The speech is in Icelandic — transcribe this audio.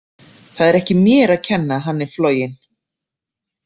Það er ekki mér að kenna að hann er floginn.